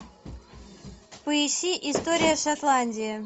поищи история шотландии